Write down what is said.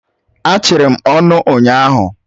E chiri m ọnụ ụnyahụ.